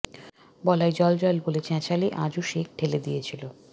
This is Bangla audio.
বলাই জল জল বলে চ্যাঁচালে আজু শেখ ঢেলে দিয়েছিল